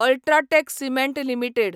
ultra tech cement limited